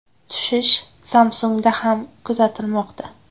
Tushish Samsung‘da ham kuzatilmoqda.